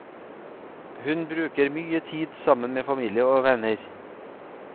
Hun bruke mye tid sammen med familie og venner.